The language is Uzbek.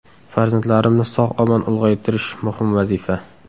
Farzandlarimni sog‘-omon ulg‘aytirish muhim vazifa.